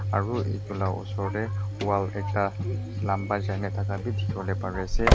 aro etu la osor dae wall ekta lamba jaina taka bi dikibolae pari asae.